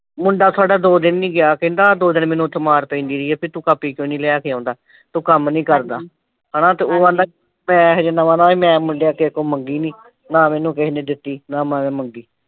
ਮੁੰਡਾ ਸਾਡਾ ਦੋ ਦਿਨ ਨਹੀ ਕਹਿੰਦਾ ਦੋ ਦਿਨ ਮੈਨੂੰ ਉੱਥੇ ਮਾਰ ਪੈਂਦੀ ਰਹੀ ਆ ਬਈ ਤੂੰ ਕਾਪੀ ਕਿਉਂ ਨਈਂ ਲੈ ਕੇ ਆਉਂਦਾ। ਤੂੰ ਕੰਮ ਨਈ ਕਰਦਾ। ਹਨਾ ਉਹ ਆਂਹਦਾ ਮੈਂ ਹਜੇ ਨਵਾਂ ਨਵਾਂ ਈ ਮੈਂ ਮੁੰਡਿਆਂ ਤੋਂ ਅੱਗੋਂ ਮੰਗੀ ਨਈਂ ਨਾ ਮੈਨੂੰ ਕਿਸੇ ਨੇ ਦਿੱਤੀ ਨਾ ਮੈਂ ਮੰਗੀ।